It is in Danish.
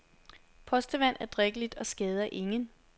Postevand er drikkeligt og skader ingen.